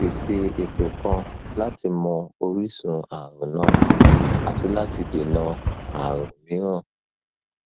pèsè ètò kan láti mọ orísun ààrùn náà àti láti dènà ààrùn mìíràn